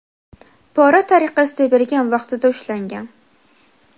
pora tariqasida bergan vaqtida ushlangan.